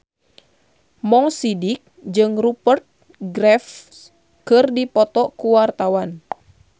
Mo Sidik jeung Rupert Graves keur dipoto ku wartawan